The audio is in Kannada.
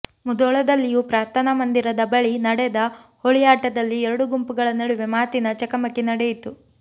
ಮುಧೋಳದಲ್ಲಿಯೂ ಪ್ರಾರ್ಥನಾ ಮಂದಿರದ ಬಳಿ ನಡೆದ ಹೋಳಿ ಆಟದಲ್ಲಿ ಎರಡು ಗುಂಪುಗಳ ನಡುವೆ ಮಾತಿನ ಚಕಮಕಿ ನಡೆಯಿತು